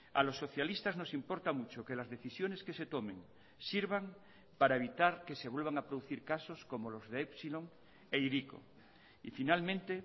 a los socialistas nos importa mucho que las decisiones que se tomen sirvan para evitar que se vuelvan a producir casos como los de epsilon e hiriko y finalmente